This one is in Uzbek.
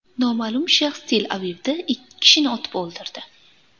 Noma’lum shaxs Tel-Avivda ikki kishini otib o‘ldirdi.